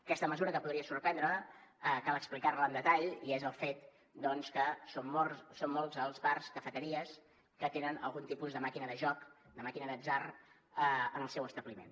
aquesta mesura que podria sorprendre cal explicar la amb detall i és el fet doncs que són molts els bars cafeteries que tenen algun tipus de màquina de joc de màquina d’atzar en el seu establiment